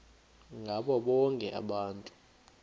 ngabo bonke abantu